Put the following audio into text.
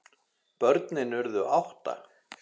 Börnin urðu átta.